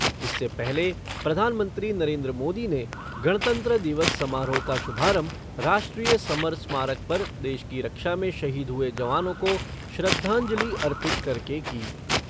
इससे पहले प्रधानमंत्री नरेन्द्र मोदी ने गणतंत्र दिवस समारोह का शुभारंभ राष्ट्रीय समर स्मारक पर देश की रक्षा में शहीद हुए जवानों को श्रद्धांजलि अर्पित करके की।